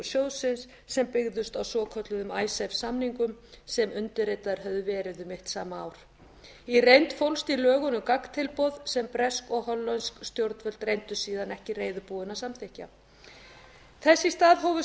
sjóðsins sem byggðust á svokölluðum icesave samningum sem undirritaðir höfðu verið um mitt sama ár í reynd fólst í lögunum gagntilboð sem bresk og hollensk stjórnvöld reyndust síðan ekki reiðubúin að samþykkja þess í stað hófust